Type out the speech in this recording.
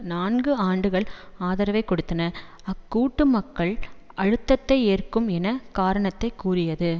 நான்கு ஆண்டுகள் ஆதரவை கொடுத்தன அக்கூட்டு மக்கள் அழுத்தத்தை ஏற்கும் என்று காரணத்தை கூறியது